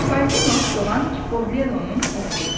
Çipollino Soğan Çipollonun oğlu idi.